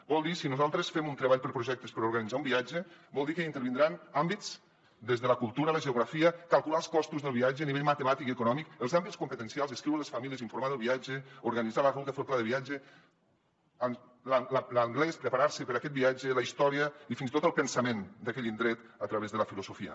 vol dir si nosaltres fem un treball per a projectes per organitzar un viatge vol dir que hi intervindran àmbits des de la cultura la geografia calcular els costos del viatge a nivell matemàtic i econòmic els àmbits competencials escriure a les famílies informar del viatge organitzar la ruta fer el pla de viatge l’anglès per preparar se per a aquest viatge la història i fins i tot el pensament d’aquell indret a través de la filosofia